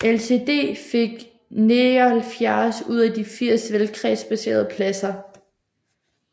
LCD fik 79 ud af de 80 valgkredsbaserede pladser